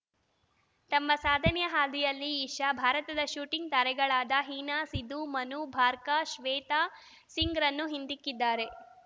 ತಮ್ಮ ಸಾಧನೆಯ ಹಾದಿಯಲ್ಲಿ ಇಶಾ ಭಾರತದ ಶೂಟಿಂಗ್‌ ತಾರೆಗಳಾದ ಹೀನಾ ಸಿಧು ಮನು ಭಾರ್ಕ ಶ್ವೇತಾ ಸಿಂಗ್‌ರನ್ನು ಹಿಂದಿಕ್ಕಿದ್ದಾರೆ